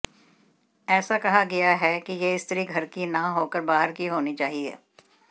ऐसा कहा गया है कि यह स्त्री घर की ना होकर बाहर की होनी चाहिए